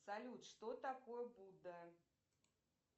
салют что такое будда